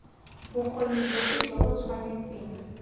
bokgoni bofe jo bo tshwanetseng